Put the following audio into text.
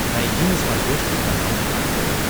найди на смотрешке канал кхлм тв